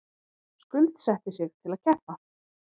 Skuldsetti sig til að keppa